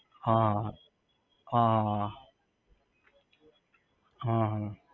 હા હા હ હ હ હા હા હા હા